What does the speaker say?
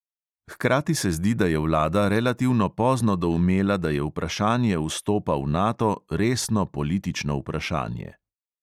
Hkrati se zdi, da je vlada relativno pozno doumela, da je vprašanje vstopa v nato resno politično vprašanje.